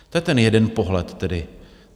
To je ten jeden pohled tedy.